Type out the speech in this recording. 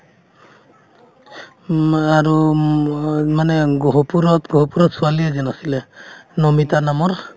উম, আৰু মই মানে গহপুৰত~গহপুৰত ছোৱালী এজন আছিলে নমিতা নামৰ